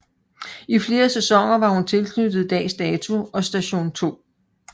I flere sæsoner var hun tilknyttet Dags Dato og Station 2